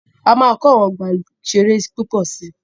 A máa kọ́ àwọn ọgbà ìṣẹ̀rẹ́ púpọ̀ si.